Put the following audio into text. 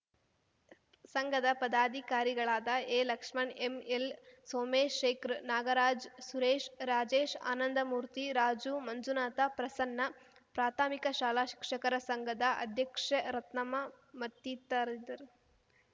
ಸಂಘದ ಪದಾಧಿಕಾರಿಗಳಾದ ಎಲಕ್ಷ್ಮಣ್‌ ಎಂಎಲ್‌ ಸೋಮೇಶೇಖರ್‌ ನಾಗರಾಜ್‌ ಸುರೇಶ್‌ ರಾಜೇಶ್‌ ಆನಂದಮೂರ್ತಿ ರಾಜು ಮಂಜುನಾಥ ಪ್ರಸನ್ನ ಪ್ರಾಥಮಿಕ ಶಾಲಾ ಶಿಕ್ಷಕರ ಸಂಘದ ಅಧ್ಯಕ್ಷೆ ರತ್ನಮ್ಮ ಮತ್ತಿತರಿದ್ದರು